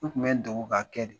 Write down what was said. N tun bɛ n dɔgɔ ka kɛ de